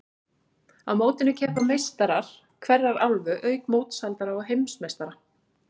Á mótinu keppa meistarar hverrar álfu, auk mótshaldara og heimsmeistara.